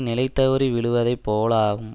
நிலைதவறி விழுவதை போலாகும்